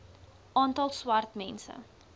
aantal swart mense